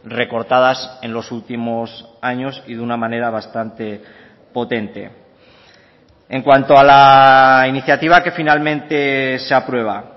recortadas en los últimos años y de una manera bastante potente en cuanto a la iniciativa que finalmente se aprueba